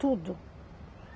Tudo.